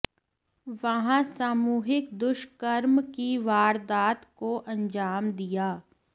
वहां सामूहिक दुष्कर्म की वारदात को अंजाम दिया